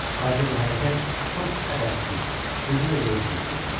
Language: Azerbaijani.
Lakin bu hərəkət çox ədəbsiz, süni və yersiz görünür.